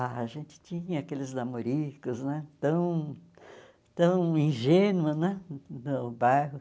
Ah a gente tinha aqueles namoricos né tão tão ingênua né no bairro.